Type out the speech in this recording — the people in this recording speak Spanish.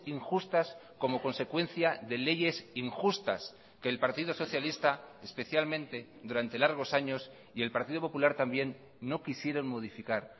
injustas como consecuencia de leyes injustas que el partido socialista especialmente durante largos años y el partido popular también no quisieron modificar